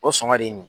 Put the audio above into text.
O sɔngɔn de ye nin ye